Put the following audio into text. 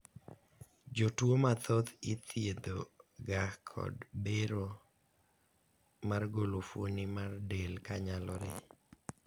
jotuo mathoth ithiedho ga kod bero mar golo fuoni mar del kanyalore